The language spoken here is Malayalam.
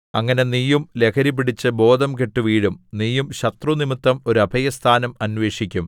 അങ്ങനെ നീയും ലഹരിപിടിച്ച് ബോധംകെട്ടു വീഴും നീയും ശത്രുനിമിത്തം ഒരു അഭയസ്ഥാനം അന്വേഷിക്കും